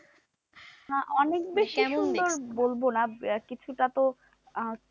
না অনেক বেশি সুন্দর বলবো না, কিছু টা তো আহ